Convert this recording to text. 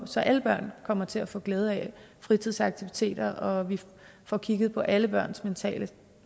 så alle børn kommer til at få glæde af fritidsaktiviteter og vi får kigget på alle børns mentale